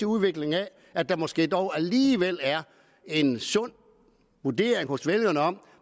udvikling af at der måske dog alligevel er en sund vurdering hos vælgerne af